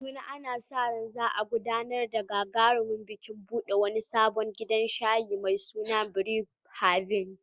A Kaduna, ana sa ran za a gudanar da gagarumin bikin buɗe wani sabon gidan shayi mai suna Brew Haven.